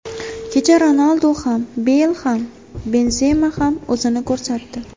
Kecha Ronaldu ham, Beyl ham, Benzema ham o‘zini ko‘rsatdi.